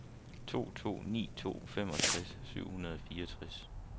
to to ni to femogtres syv hundrede og fireogtres